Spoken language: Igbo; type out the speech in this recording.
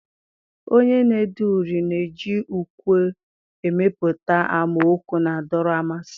Onye na-ede uri na-eji ukwe emepụta amaokwu na-adọrọ mmasị.